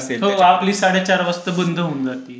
आपली साडेचार वाजता बंद होऊन जाते.